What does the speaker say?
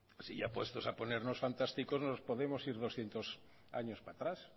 si ya puestos a ponernos fantásticos nos podemos ir doscientos años para atrás